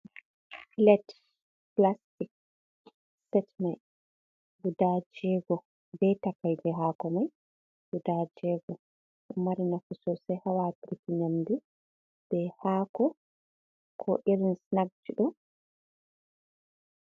Plet plastic set mai guda jego, be takaije hako mai guda jego, ɗo mari nafu sosai ha watirgo nyamde be hako ko irin snag ji ɗo.